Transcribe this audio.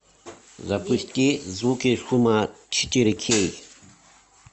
запусти звуки шума четыре кей